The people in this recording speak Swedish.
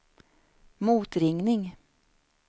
motringning